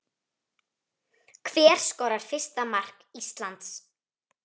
Hver skorar fyrsta mark Íslands?